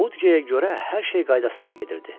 Mudqeyə görə hər şey qaydasında gedirdi.